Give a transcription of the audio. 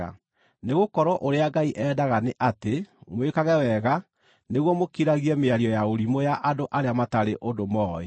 Nĩgũkorwo ũrĩa Ngai endaga nĩ atĩ mwĩkage wega nĩguo mũkiragie mĩario ya ũrimũ ya andũ arĩa matarĩ ũndũ mooĩ.